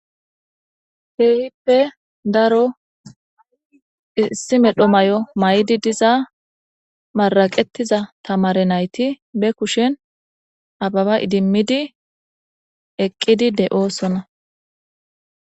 Keehippe daro issi medho may7o maydi diza maraqetiza tamare nayti be kushen ababa idimmidi eqqidi de7oosona